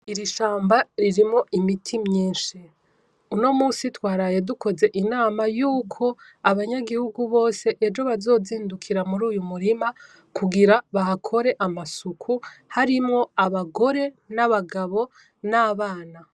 Iri shamba ririmwo imiti mwinshi. Uno musi twaraye dukoze inama yuko abanyagihugu bose ejo bazozindukira muruyu murima kugira bahakore amasuku harimwo abagore n'abagabo n'abana.